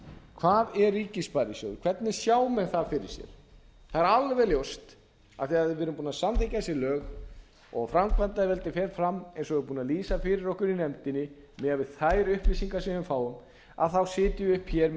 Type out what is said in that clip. hvað er ríkissparisjóður hvernig sjá menn það fyrir sér það er alveg ljóst að þegar við erum búin að samþykkja þessi lög og framkvæmdarvaldið fer fram eins og er búið að lýsa fyrir okkur í nefndinni miðað við þær upplýsingar sem við fáum sitjum við uppi hér með